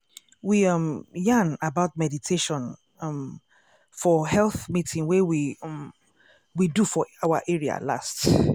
we um yarn about meditation um for health meeting wey we um we do for our area last.